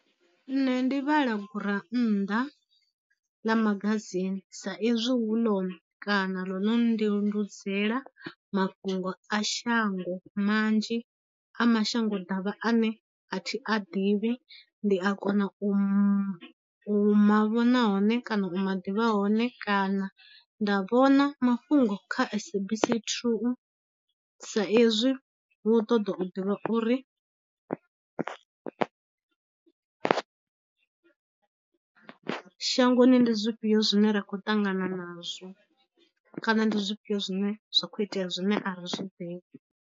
Nṋe ndi vhala gurannḓa ḽa magazine sa ezwi hu ḽone kana ḽo no nndiludzela mafhungo a shango manzhi a mashango davha ane a thi a ḓivhi, ndi a kona u ma vhona hone kana u ma ḓivha hone kana nda vhona mafhungo kha SABC 2 sa ezwi hu u ṱoḓa u ḓivha uri shangoni ndi zwifhio zwine ra khou ṱangana nazwo, kana ndi zwifhio zwine zwa khou itea zwine a ri zwi ḓivhi.